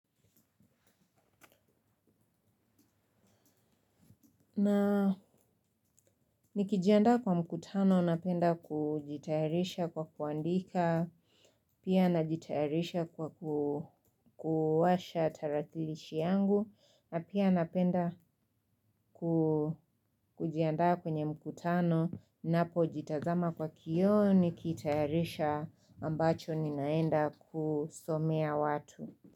Na nikijanda kwa mkutano napenda kujitaharisha kwa kuandika. Pia najitaharisha kwa kuwasha tarakilishi yangu. Napia napenda kujandaa kwenye mkutano. Napo jitazama kwa kiyo nikitaharisha ambacho ninaenda kusomea watu.